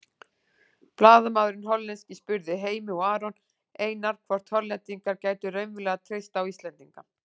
Blaðamaðurinn hollenski spurði Heimi og Aron Einar hvort Hollendingar gætu raunverulega treyst á Íslendinga.